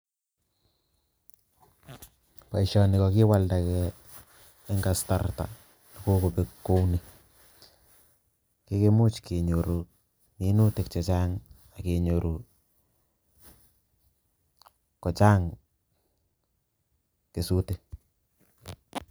Boisoni kokii kiwalndakee eng kasarta neko kobek kouni kikimuch kee nyoru minutik che Chang ak ke nyoru kochang kesutik